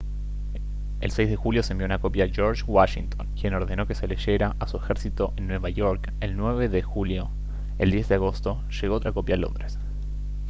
el 6 de julio se envió una copia a george washington quien ordenó que se la leyeran a su ejército en nueva york el 9 de julio el 10 de agosto llegó otra copia a londres